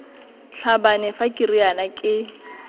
tlhabane fa ke riana ke